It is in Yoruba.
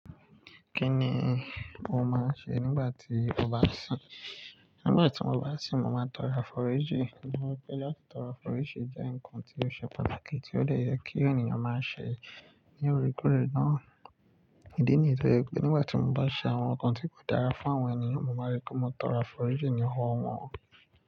Kí ni o máa ń ṣe nígbà tí o bá sìn? Nígbà tí mo bá sìn, mo máa ń tọrọ àforíjì. Nitoei pé láti tọrọ àforíjì jẹ́ ǹkan tó ṣe pàtàkì tí ó de yẹ kí ènìyàn máa ṣẹ̀ ní oore koore náà. Ídí nìyí tó je pe nígbà tí mo bá ṣe àwọn ǹkan tí kò dára fún àwọn ènìyàn, mo máa n rí pé mo tọrọ àforíjì ní owo wọ́n.